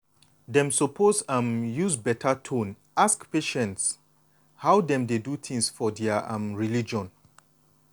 dem suppose um use beta tone ask patients how dem dey do things for their um religion.